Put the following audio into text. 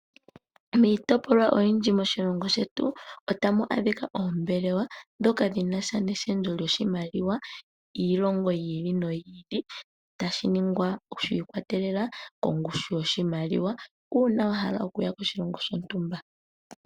Miitopolwa oyindji moshilongo shetu otamu adhika oombelewa ndhoka dhinasha neshendjo lyoshimaliwa yiilongo yi ili noyi ili, tashi ningwa shi ikwatelela kongushu yoshimaliwa uuna wa hala okuya koshilongo shontumba.